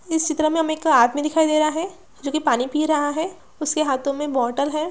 इस चित्र में हमें एक आदमी दिखाई दे रहा है जो की पानी पी रहा है उसके हाथों में इक बोटल है।